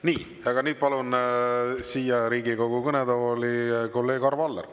Nii, aga nüüd palun siia Riigikogu kõnetooli kolleeg Arvo Alleri.